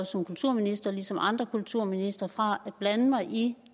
som kulturminister ligesom andre kulturministre afskåret fra at blande mig i